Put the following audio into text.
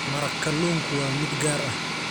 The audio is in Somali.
Maraq kalluunku waa mid gaar ah.